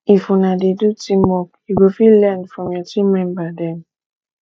if una dey do teamwork you go fit learn from your team member dem